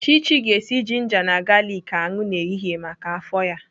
Chichi ga-esi jinja na galiki aṅụ n'ehihie maka afọ ya.